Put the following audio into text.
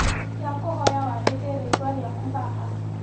Ndakũhoya wandĩke rĩtwa rĩaku haha.